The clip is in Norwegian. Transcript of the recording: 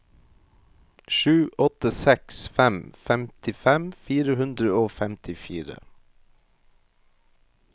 sju åtte seks fem femtifem fire hundre og femtifire